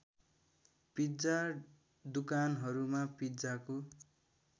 pizza दुकानहरूमा पिज्जाको